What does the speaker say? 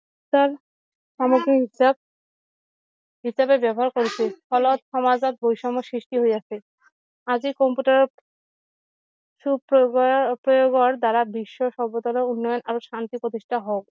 তাৰ সামগ্ৰী হিচাপ হিচাপে ব্যৱহাৰ কৰিছে ফলত সমাজত বৈষম্যৰ সৃষ্টি হৈছে আছে আজি কম্পিউটাৰ সু প্ৰয়োগৰ দ্বাৰা বিশ্বৰ সভ্যতালৈ উন্নয়ন আৰু শান্তিৰ প্ৰতিষ্ঠা হওঁক